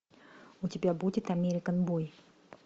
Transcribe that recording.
у тебя будет американ бой